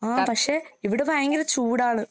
ആഹ് പക്ഷെ ഇവടെ ഭയങ്കര ചൂടാണ്.